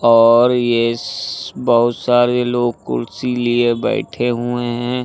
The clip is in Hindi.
और इस बहुत सारे लोग कुर्सी लिए बैठे हुए हैं।